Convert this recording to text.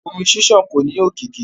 Omi ṣiṣan ko ni òkìkí.